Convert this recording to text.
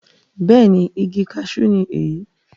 bẹ́ẹ̀ni, igi kasú ni èyí